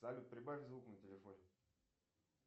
салют прибавь звук на телефоне